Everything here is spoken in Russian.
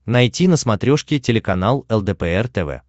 найти на смотрешке телеканал лдпр тв